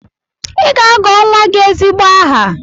Ị ga-agọ nwa gị ezigbo aha!